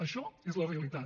això és la realitat